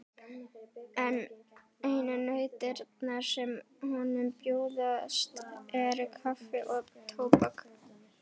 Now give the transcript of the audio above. En einu nautnirnar sem honum bjóðast eru kaffi og tóbak.